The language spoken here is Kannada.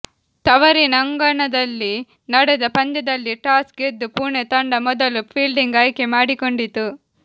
ತವರಿನ ಅಂಗಣದಲ್ಲಿ ನಡೆದ ಪಂದ್ಯದಲ್ಲಿ ಟಾಸ್ ಗೆದ್ದ ಪುಣೆ ತಂಡ ಮೊದಲು ಫೀಲ್ಡಿಂಗ್ ಆಯ್ಕೆ ಮಾಡಿಕೊಂಡಿತು